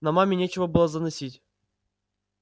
но маме нечего было заносить